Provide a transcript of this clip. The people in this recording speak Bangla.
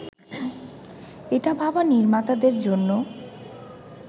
এটা ভাবা নির্মাতাদের জন্য